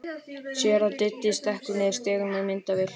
Sér að Diddi stekkur niður stigann með myndavél.